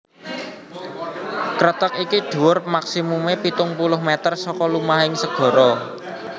Kreteg iki dhuwur maksimumé pitung puluh mèter saka lumahing segara